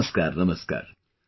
Namaskar, Namaskar